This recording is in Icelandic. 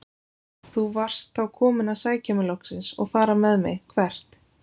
Þú varst þá kominn að sækja mig loksins og fara með mig- hvert?